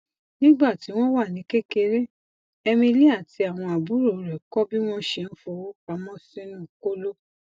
nígbà tí wọn wà ní kékeré emily àti àwọn àbúrò rẹ kọ bí wọn ṣe ń fowó pamọ sínú kóló